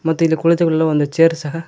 ಮತ್ತು ಇಲ್ಲಿ ಕುಳಿತುಕೊಳ್ಳಲು ಒಂದು ಚೇರ್ ಸಹ--